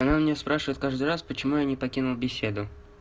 она у меня спрашивает каждый раз почему я не покинул беседу